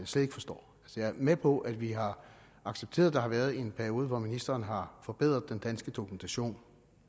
slet ikke forstår jeg er med på at vi har accepteret at der har været en periode hvor ministeren har forbedret den danske dokumentation